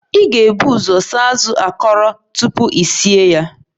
Ị ga-ebu ụzọ saa azụ akọrọ tupu I sie ya